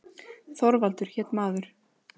Þorvaldur hét maður.